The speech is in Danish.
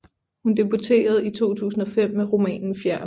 Hun debuterede i 2005 med romanen Fjern